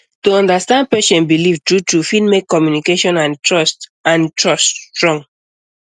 to understand patient belief true true fit make communication and trust and trust strong